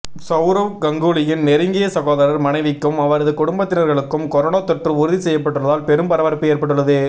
சவுரவ் கங்குலியின் நெருங்கிய சகோதரர் மனைவிக்கும் அவரது குடும்பத்தினர்களுக்கும் கொரோனா தொற்று உறுதி செய்யப்பட்டுள்ளதால் பெரும் பரபரப்பு ஏற்பட்டுள்ளது